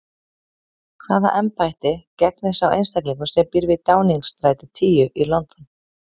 Hvaða embætti gegnir sá einstaklingur sem býr við Downingstræti tíu í London?